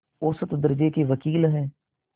औसत दर्ज़े के वक़ील हैं